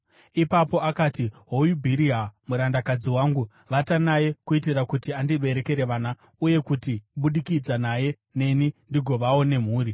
Ipapo akati, “Hoyu Bhiriha, murandakadzi wangu. Vata naye kuitira kuti andiberekere vana uye kuti kubudikidza naye neni ndigovawo nemhuri.”